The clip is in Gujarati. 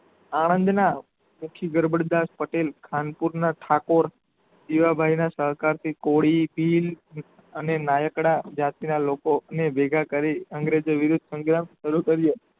આણંદના મુખી ગડબડ દાસ પટેલ ખાન પૂરના ઠાકોર જીવાભાઈના સહકાર થી કોળી ભીલ અને નાયકડા જાતના લોકો ને ભેગા કરી અંગ્રેજોએ વિરુદ્ધ સંગ્રામ સારું કર્યો